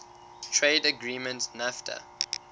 trade agreement nafta